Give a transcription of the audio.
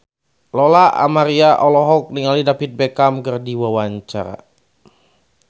Lola Amaria olohok ningali David Beckham keur diwawancara